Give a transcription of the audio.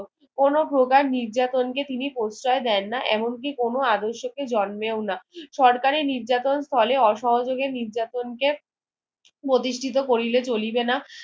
কোনো প্রকার নির্যাতন কে তিনি প্রশয় দেননা এমন কি কোনো আদর্শকে জর্মেউনা সরকারের নির্যাতন স্থলে অসহযোগের নির্যাতন কে প্রতিষ্ঠিত করিলে চলিবে না